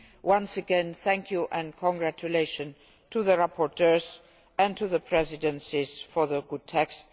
Once again, thank you and congratulations to the rapporteurs and to the presidencies for the good texts.